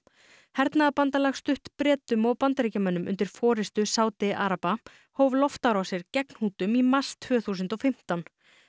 hernaðarbandalag stutt Bretum og Bandaríkjamönnum undir forrystu Sádi araba hóf loftárásir gegn Hútum í mars tvö þúsund og fimmtán